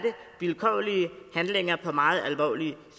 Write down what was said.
vilkårlige handlinger i forhold til meget alvorlige